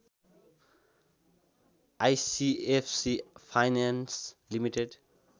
ICFC finance limited